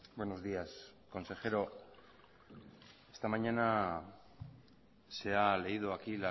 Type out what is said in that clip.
buenos días consejero esta mañana se ha leído aquí